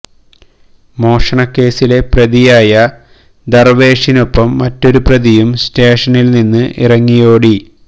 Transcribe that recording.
മോഷണ കേസിലെ പ്രതിയായ ദർവേഷിനൊപ്പം മറ്റൊരു പ്രതിയും സ്റ്റേഷനിൽ നിന്നും ഇറങ്ങി ഓടി